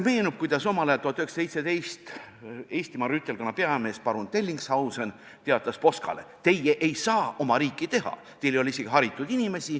Meenub, kuidas omal ajal, 1917. aastal teatas Eestimaa rüütelkonna peamees parun Dellingshausen Poskale: "Teie ei saa oma riiki teha, teil ei ole isegi haritud inimesi.